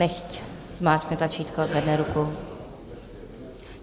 Nechť zmáčkne tlačítko a zvedne ruku.